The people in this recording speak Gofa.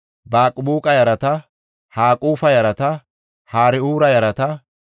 Ya7ila yarata, Darqoona yarata, Gidela yarata,